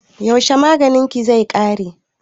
Yaushe maganin ki zai ƙare?